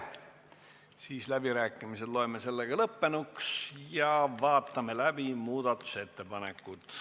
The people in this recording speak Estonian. Loen läbirääkimised lõppenuks ja vaatame läbi muudatusettepanekud.